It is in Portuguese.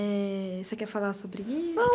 Eh, você quer falar sobre isso? Não